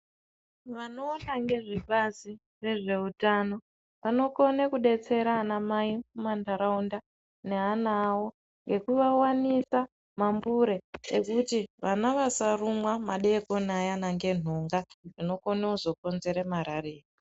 Vanoona ngezvebazi rezveutano vanokone kudetsera anamai mumantaraunda neana avo ngekuvawanisa mambure ekuti vana vasarumwa madeekoni ayana ngenhunga dzinokone kuzokonzere marariya.